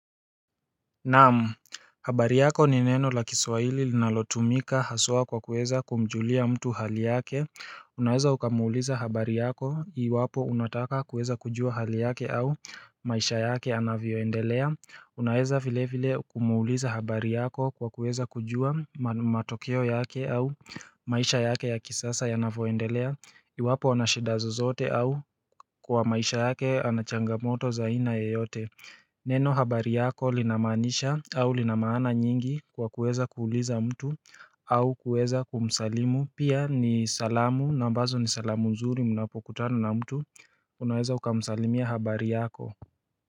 Naam, habari yako ni neno la kiswahili linalotumika haswa kwa kuweza kumjulia mtu hali yake Unaweza ukamuuliza habari yako iwapo unataka kuweza kujua hali yake au maisha yake anavyoendelea Unaweza vile vile kumuuliza habari yako kwa kuweza kujua matokeo yake au maisha yake ya kisasay anavyoendelea Iwapo anashida zozote au kwa maisha yake anachangamoto za aina yoyote Neno habari yako linamaanisha au linamaana nyingi kwa kuweza kuuliza mtu au kuweza kumsalimu Pia ni salamu na ambazo ni salamu nzuri munapokutana na mtu unaweza ukamsalimia habari yako.